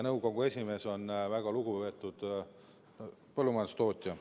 Nõukogu esimees on väga lugupeetud põllumajandustootja.